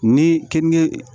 Ni keninge